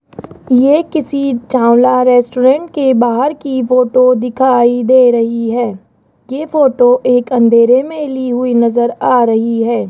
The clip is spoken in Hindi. ये किसी चावला रेस्टोरेंट के बाहर की फोटो दिखाई दे रही है के फोटो एक अंधेरे में ली हुई नजर आ रही है।